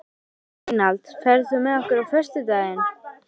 Reynald, ferð þú með okkur á föstudaginn?